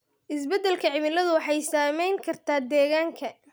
Isbeddelka cimiladu waxay saameyn kartaa deegaanka.